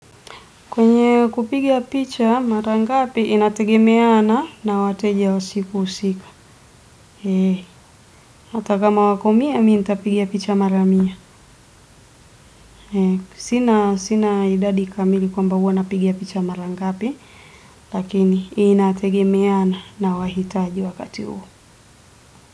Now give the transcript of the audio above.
Kwenye kupiga picha mara ngapi, inategemeana na wateja usiku husika. Hata kama wako mia, mimi nitapiga picha mara mia. Sina idadi kamili kwamba huwa napiga picha mara ngapi, lakini inategemeana na wahitaji wakati huo.